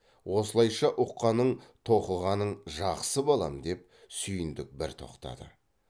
осылайша ұққаның тоқығаның жақсы балам деп сүйіндік бір тоқтады